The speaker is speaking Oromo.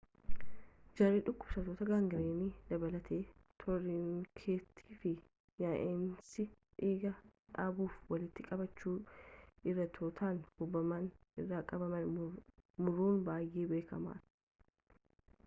jarri dhukubsattoota gaangiriiniin dabalatees toornikeetii fi yaa'insa dhiigaa dhaabuuf walitti qabachuu arterootaan hubaman irraa qaama muruun baayyee beekaman